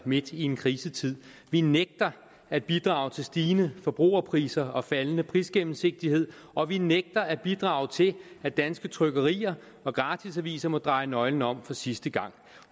midt i en krisetid vi nægter at bidrage til stigende forbrugerpriser og faldende prisgennemsigtighed og vi nægter at bidrage til at danske trykkerier og gratisaviser må dreje nøglen om for sidste gang